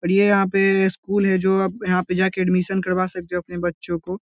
और ये यहाँ पे स्कूल है जो आप यहाँ पे जाके एडमिशन करवा सकते हो अपने बच्चो को।